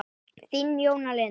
Þín, Jóna Lind.